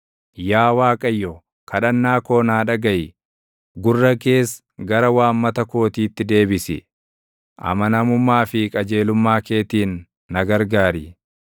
Yaa Waaqayyo, kadhannaa koo naa dhagaʼi; gurra kees gara waammata kootiitti deebisi; amanamummaa fi qajeelummaa keetiin, na gargaari.